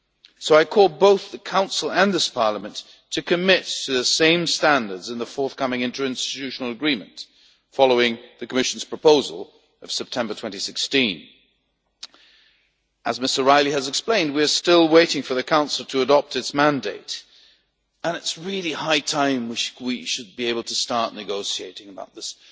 So I call on both the Council and this Parliament to commit to the same standards in the forthcoming interinstitutional agreement following the Commission's proposal of September 2016. As Ms O'Reilly has explained, we are still waiting for the Council to adopt its mandate, and it really is high time for us to be able to start negotiating about this.